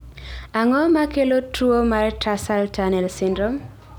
Ang�o ma kelo tuo mar tarsal tunnel syndrome?